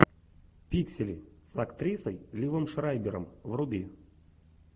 пиксели с актрисой ливом шрайбером вруби